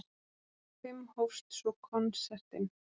Klukkan fimm hófst svo konsertinn.